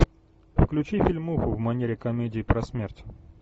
включи фильмуху в манере комедии про смерть